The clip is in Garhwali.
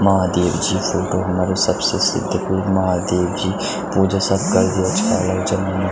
महादेव जी क फोटो हमारा सबसे सिद्ध गुरु महादेव जी पूजा सब करदे छा यु जन मुनो।